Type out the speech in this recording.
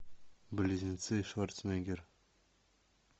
близнецы шварценеггер